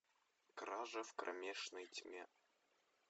кража в кромешной тьме